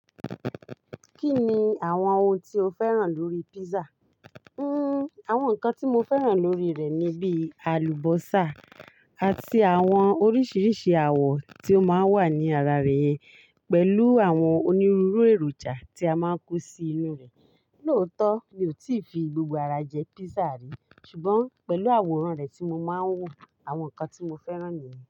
Kí ni àwọn oun tí o fẹ́ràn lórí pizza? Hmm, àwọn nǹkan tí mo fẹ́ràn lórí rẹ̀ ni bí àlùbọ́sà àti àwọn oríṣiríṣi awọ tí ó máa ń wà ní ara rẹ̀ yen pẹ̀lú àwọn onírúurú èròjà tí a máa ń kó sí inú rẹ̀. Lóòótọ́, mi ò tíì fi gbogbo ara jẹ pizza rí, ṣùgbọ́n pẹ̀lú àwòrán rẹ̀ tí mo máa ń wò, àwọn nǹkan tí mo fẹ́ràn nìyẹn.